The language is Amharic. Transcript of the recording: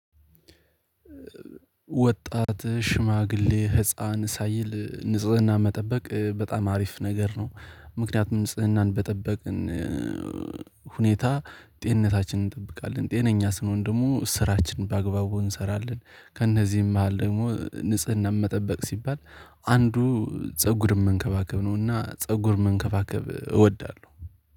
ወጣት ሽማግሌ ህፃን ሳይል ንጽህና መጠበቅ በጣም አሪፍ ነገር ነው። ምክንያቱም ንጽህናን በጠበቅን ሁኔታ ጤንነታችንን እንጠብቃለን ጤነኛ ስንሆን ደግሞ ስራችን ባግባቡ እንሰራለን። ከእነዚህም መሃል ደግሞ ንጽህና መጠበቅ ሲባል አንዱ ፀጉር መንከባከብ ነውና ፀጉር መንከባከብ እወዳለሁ